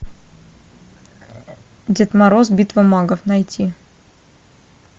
дед мороз битва магов найти